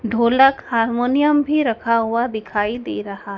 ढोलक हारमोनियम भी रखा हुआ दिखाई दे रहा--